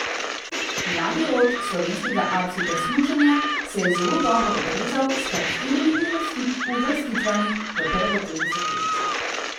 Mladi rod slovenskega alpskega smučanja se je zelo dobro odrezal s kar štirimi uvrstitvami v prvo trideseterico.